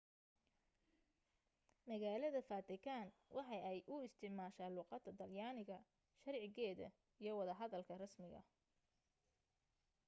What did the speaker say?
magaalada vatican waxa ay u isticmaasha luuqada talyaniga sharcigeeda iyo wada hadalka rasmiga